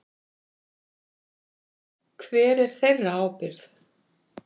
Hver er þeirra ábyrgt?